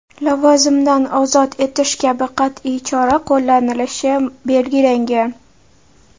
lavozimdan ozod etish kabi qat’iy chora qo‘llanilishi belgilangan.